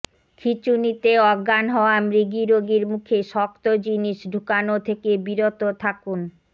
খিঁচুনিতে অজ্ঞান হওয়া মৃগীরোগীর মুখে শক্ত জিনিস ঢুকানো থেকে বিরত থাকুন